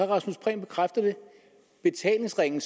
rasmus prehn bekræfter det betalingsringen